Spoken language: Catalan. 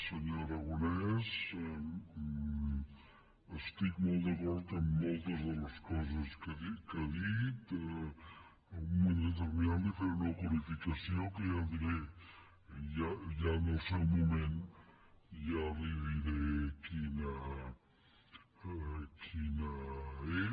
senyor aragonès estic molt d’acord amb moltes de les coses que ha dit en un moment determinat li faré una qualificació que ja diré que ja en el seu moment li diré quina és